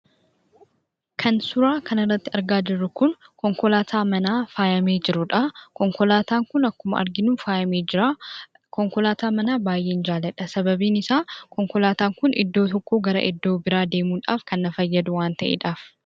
Kan suuraa kanarratti argaa jirru kun konkolaataa manaa faayamee jiruudha. Konkolaataan kun akkuma arginu faayamee jira. Konkolaataa manaa baay'een jaaladha. Sababiin isaa, konkolaataan kun iddoo tokkoo gara iddoo biraa deemudhaaf kan na fayyadu waan ta'eedhaaf.